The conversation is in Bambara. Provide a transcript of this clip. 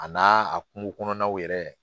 A n'a a kungokɔnɔnaw yɛrɛ